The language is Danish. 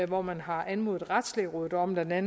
hvor man har anmodet retslægerådet om bla at